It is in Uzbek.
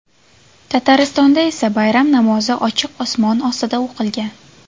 Tataristonda esa bayram namozi ochiq osmon ostida o‘qilgan.